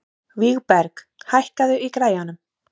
Vígberg, hækkaðu í græjunum.